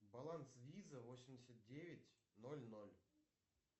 баланс виза восемьдесят девять ноль ноль